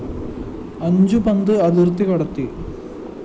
അഞ്ചു പന്ത് അതിര്‍ത്തി കടത്തി